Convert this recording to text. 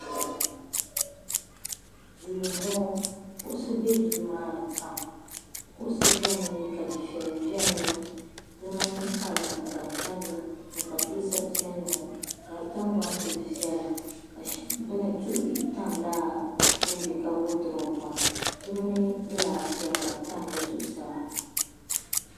Duu m boŋɔ kuɣusi be duu maa ni maa kuɣusi biɛni ka dufeya biɛni di mini kalanda ka di tabya pateesa piɛlli ŋɔ ka di tingbani kuli viɛla ka duɣu bihi tam lala din be ka wodupu maa di mini gilaasi sheli ka di tam di zuɣusaa.